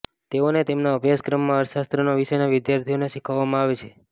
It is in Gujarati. તેઓને તેમના અભ્યાસક્રમમાં અર્થશાસ્ત્રના વિષયના વિદ્યાર્થીઓને શીખવવામાં આવે છે